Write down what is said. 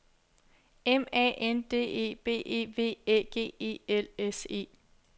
M A N D E B E V Æ G E L S E